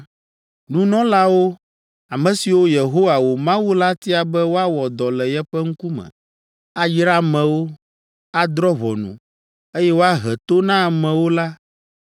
“Nunɔlawo, ame siwo Yehowa, wò Mawu la tia be woawɔ dɔ le yeƒe ŋkume, ayra amewo, adrɔ̃ ʋɔnu, eye woahe to na amewo la